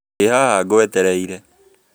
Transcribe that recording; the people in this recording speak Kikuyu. Ndĩ haha ngwetereire